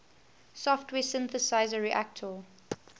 software synthesizer reaktor